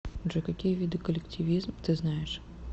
джой какие виды коллективизм ты знаешь